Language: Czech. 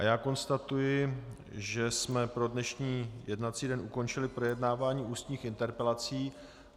A já konstatuji, že jsme pro dnešní jednací den ukončili projednávání ústních interpelací.